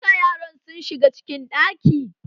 Duka yaran su shiga cikin ɗaki!